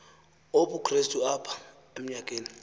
obukrestu apha emnyakeni